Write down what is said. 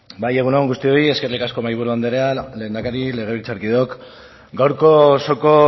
bai egun on guztioi eskerrik asko mahaiburu andrea lehendakaria legebiltzarkideok gaurko osoko